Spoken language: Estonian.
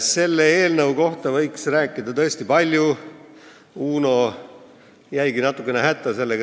Selle eelnõu kohta võiks rääkida tõesti palju, Uno jäigi sellega natuke hätta.